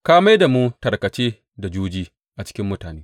Ka mai da mu tarkace da juji a cikin mutane.